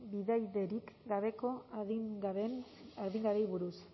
bidaiderik gabeko adingabeei buruz